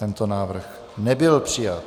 Tento návrh nebyl přijat.